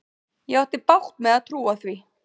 Ég átti bágt með að trúa því.